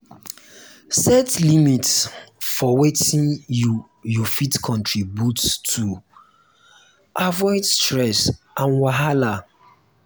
set limit for wetin you you fit contribute to avoid stress and wahala.